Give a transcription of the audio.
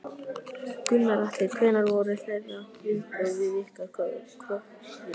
Gunnar Atli: Hver voru þeirra viðbrögð við ykkar kröfum?